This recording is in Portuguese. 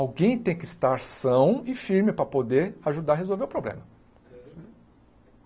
Alguém tem que estar são e firme para poder ajudar a resolver o problema.